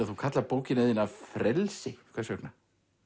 þú kallar bókina þína frelsi hvers vegna